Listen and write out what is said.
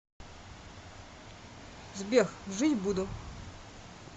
сбер жить буду